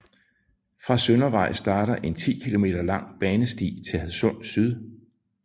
Fra Søndervej starter en 10 km lang banesti til Hadsund Syd